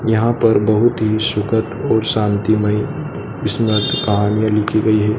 यहां पर बहुत ही सुखद और शांति मई कहानियां लिखी गई है।